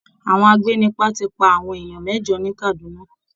Àwọn agbénipa ti pa àwọn èèyàn mẹ́jọ ní Kaduna